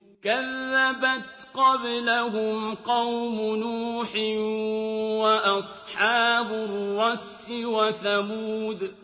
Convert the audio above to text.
كَذَّبَتْ قَبْلَهُمْ قَوْمُ نُوحٍ وَأَصْحَابُ الرَّسِّ وَثَمُودُ